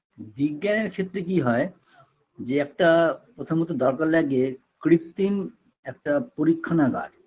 বিজ্ঞানের ক্ষেত্রে কি হয় যে একটা প্রথমত দরকার লাগে কৃত্রিম একটা পরীক্ষানাগার